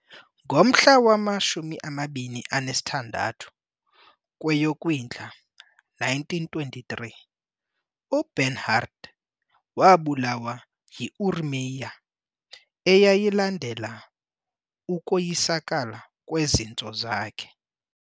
ngomhla wama-26 kweyoKwindla 1923, uBernhardt wabulawa yiuremia eyayilandela ukoyisakala kwezintso zakhe.